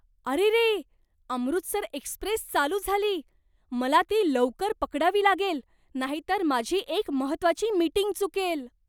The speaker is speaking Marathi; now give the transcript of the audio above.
अरेरे! अमृतसर एक्स्प्रेस चालू झाली. मला ती लवकर पकडावी लागेल नाहीतर माझी एक महत्त्वाची मीटिंग चुकेल!